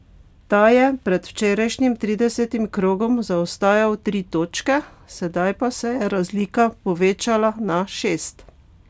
Ta je pred včerajšnjim tridesetim krogom zaostajal tri točke, sedaj pa se je razlika povečala na šest.